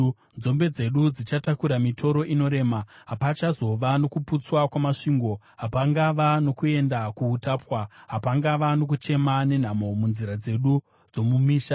nzombe dzedu dzichatakura mitoro inorema. Hapachazova nokuputswa kwamasvingo, hapachazova nokuenda kuutapwa, hapachazova nokuchema nenhamo, munzira dzedu dzomumisha.